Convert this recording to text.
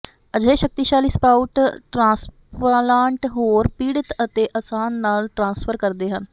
ਅਜਿਹੇ ਸ਼ਕਤੀਸ਼ਾਲੀ sprout transplant ਹੋਰ ਪੀੜਤ ਅਤੇ ਆਸਾਨੀ ਨਾਲ ਟਰਾਂਸਫਰ ਕਰਦੇ ਹਨ